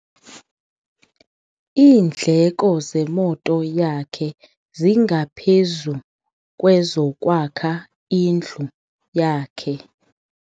Iindleko zemoto yakhe zingaphezu kwezokwakha indlu yakhe.